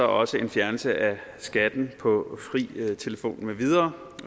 også en fjernelse af skatten på fri telefon med videre